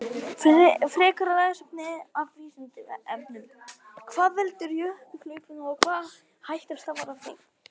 Frekara lesefni af Vísindavefnum: Hvað veldur jökulhlaupum og hvaða hætta stafar af þeim?